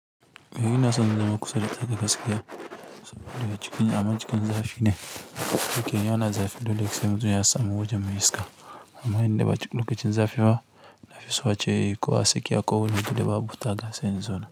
Eh ina son zama kusa da tsakar gaskiya saboda cikin aman cikin zafi ne. Idan ana zafi dole sai mutum yasamu wajen mai yi iska. Amma inda ba lokacin zafi ba, nafi so ace kowa sai ya koyi yadda babu taga sani zona.